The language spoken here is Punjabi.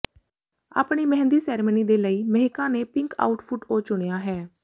ਆਪਣੀ ਮਹਿੰਦੀ ਸੈਰੇਮਨੀ ਦੇ ਲਈ ਮਿਹੀਕਾ ਨੇ ਪਿੰਕ ਆਊਟਫਿੱਟ ਓ ਚੁਣਿਆ ਹੈ